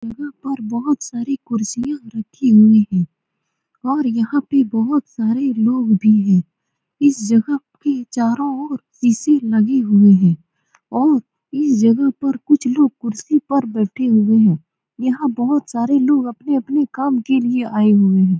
यहाँ पर बोहोत सारी कुर्सियां रखी हुई हैं और यहाँ पे बोहोत सारे लोग भी हैं । इस जगह के चारो और शीशे लगे हुए हैं और इस जगह पर कुछ लोग कुर्सी पर बैठे हुए हैं । यहाँ बोहोत सारे लोग अपने-अपने काम के लिए आए हुए हैं ।